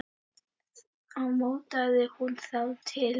Þá mótaði hún þá til.